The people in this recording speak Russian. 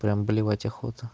прям блевать охота